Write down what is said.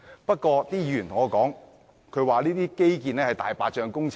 不過，有議員說，這些基建是"大白象"工程。